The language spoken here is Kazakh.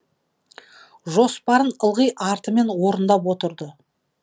жоспарын ылғи артымен орындап отырды